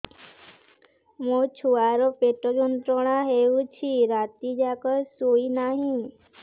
ମୋ ଛୁଆର ପେଟ ଯନ୍ତ୍ରଣା ହେଉଛି ରାତି ଯାକ ଶୋଇନାହିଁ